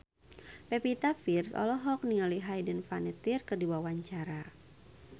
Pevita Pearce olohok ningali Hayden Panettiere keur diwawancara